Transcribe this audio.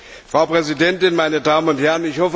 Frau Präsidentin, meine Damen und Herren!